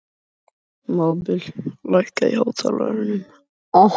Mábil, lækkaðu í hátalaranum.